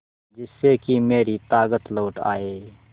जिससे कि मेरी ताकत लौट आये